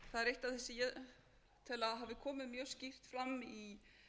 eitt af því sem ég tel að hafi komið mjög skýrt fram í